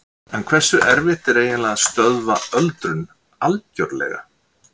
En hversu erfitt er eiginlega að stöðva öldrun algjörlega?